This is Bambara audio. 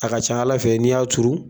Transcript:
A ka ca Ala fɛ n'i y'a turu